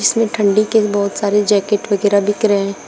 इसमें ठंडी के बहुत सारे जैकेट वगैरा बिक रहे।